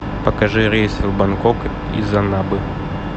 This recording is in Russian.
покажи рейсы в бангкок из аннабы